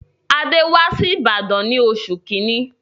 Adé wá si Ìbàdàn ní oṣù kíní.